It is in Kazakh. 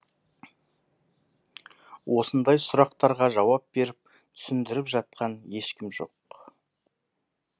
осындай сұрақтарға жауап беріп түсіндіріп жатқан ешкім жоқ